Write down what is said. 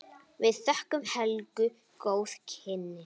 Við þökkum Helgu góð kynni.